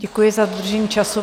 Děkuji za dodržení času.